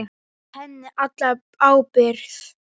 Fel henni alla ábyrgð.